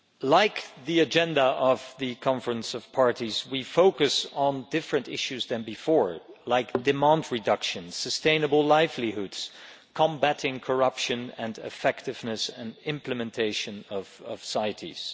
Like the agenda of the Conference of the Parties, we are focusing on different issues than before, like demand reduction, sustainable livelihoods, combating corruption and effectiveness and implementation of CITES.